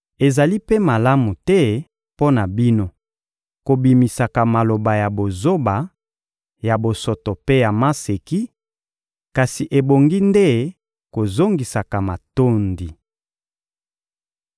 Ezali mpe malamu te mpo na bino kobimisaka maloba ya bozoba, ya bosoto mpe ya maseki, kasi ebongi nde kozongisaka matondi.